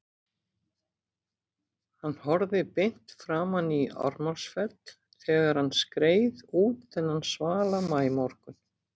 Hann horfði beint framan í Ármannsfell þegar hann skreið út þennan svala maímorgun.